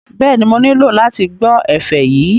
Bẹ́ẹ̀ni, mo nílò láti gbọ́ ẹ̀fẹ̀ yìí